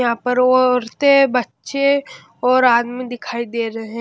यहां पर औरतें बच्चे और आदमी दिखाई दे रहे हैं।